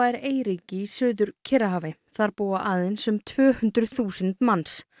er eyríki í Suður Kyrrahafi þar búa aðeins um tvö hundruð þúsund manns